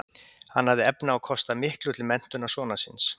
Hann hafði efni á að kosta miklu til menntunar sonar síns.